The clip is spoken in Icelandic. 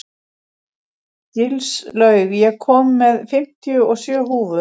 Gilslaug, ég kom með fimmtíu og sjö húfur!